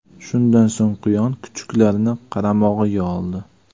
Shundan so‘ng quyon kuchuklarni qaramog‘iga oldi.